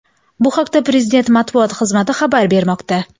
Bu haqda prezident matbuot xizmati xabar bermoqda .